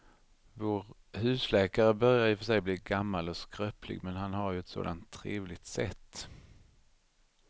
Vår husläkare börjar i och för sig bli gammal och skröplig, men han har ju ett sådant trevligt sätt!